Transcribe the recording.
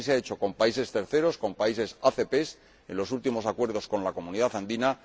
Así se ha hecho con países terceros, con países ACP y en los últimos acuerdos con la Comunidad Andina.